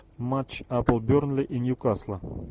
матч апл бернли и ньюкасла